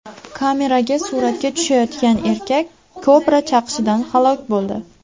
Kameraga suratga tushayotgan erkak kobra chaqishidan halok bo‘ldi.